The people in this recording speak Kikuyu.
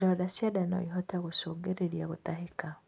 Ironda cia nda noĩhote gũcũngĩrĩrĩa gutahika